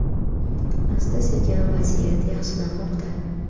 Asta -sekin vaziyat yaxshilanmoqda.